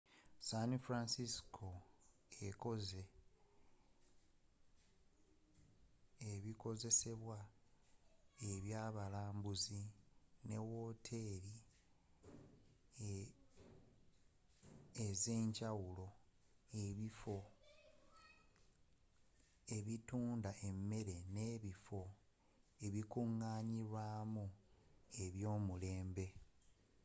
san francisco ekoze ebikozesebwa eby'abalambuzi ne woteri ez'enjawulo ebifo ebitunda emere n'ebifo ebikunganilwamu ebyo'mulembe